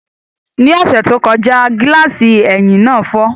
Ní ọ̀sẹ̀ tó kọjá, gíláàsì ẹ̀yìn náà fọ́